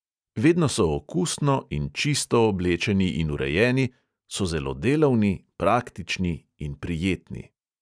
Vedno so okusno in čisto oblečeni in urejeni, so zelo delavni, praktični in prijetni.